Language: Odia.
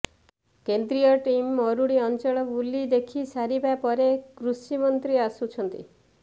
କେନ୍ଦ୍ରୀୟ ଟିମ୍ ମରୁଡି ଅଞ୍ଚଳ ବୁଲି ଦେଖି ସାରିବା ପରେ କୃଷିମନ୍ତ୍ରୀ ଆସୁଛନ୍ତି